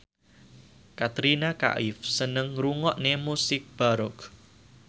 Katrina Kaif seneng ngrungokne musik baroque